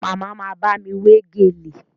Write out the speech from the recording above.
Màmá ma bámi wé gèlè